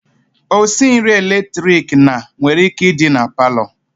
Osinri eletrik na nwere ike idi na parlour.